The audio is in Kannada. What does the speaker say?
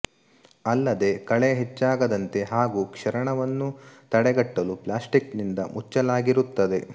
ಅಲ್ಲದೇ ಕಳೆ ಹೆಚ್ಚಾಗದಂತೆ ಹಾಗೂ ಕ್ಷರಣವನ್ನು ತಡೆಗಟ್ಟಲು ಪ್ಲ್ಯಾಸ್ಟಿಕ್ ನಿಂದ ಮುಚ್ಚಲಾಗಿರುತ್ತದೆ